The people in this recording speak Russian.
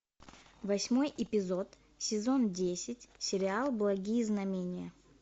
восьмой эпизод сезон десять сериал благие знамения